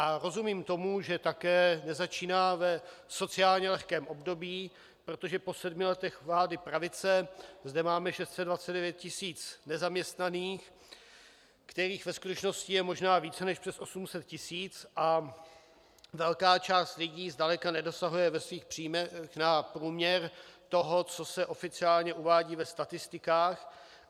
A rozumím tomu, že také nezačíná v sociálně lehkém období, protože po sedmi letech vlády pravice zde máme 629 tisíc nezaměstnaných, kterých ve skutečnosti je možná více než přes 800 tisíc, a velká část lidí zdaleka nedosahuje ve svých příjmech na průměr toho, co se oficiálně uvádí ve statistikách.